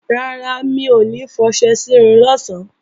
Rárá, mi ò ní fọṣẹ sírun lọ̀sán